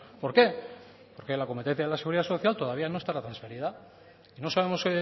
por qué porque la competencia de la seguridad social todavía no estará transferida no sabemos